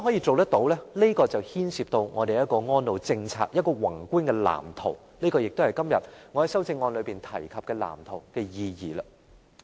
這牽涉我們的安老政策必須有一個宏觀的藍圖，這也是我今天在修正案中提及的藍圖的意義。